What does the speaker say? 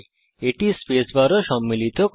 এটি স্পেস বারও সম্মিলিত করে